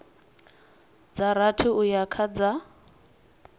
dza rathi uya kha dza